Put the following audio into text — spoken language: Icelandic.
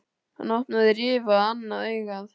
Hann opnaði rifu á annað augað.